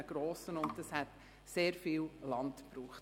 Es hätte einen grossen Kreisel und damit sehr viel Land gebraucht.